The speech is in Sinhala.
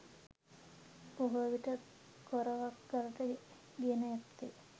බොහෝ විට කොරවක් ගලට ගෙන ඇත්තේ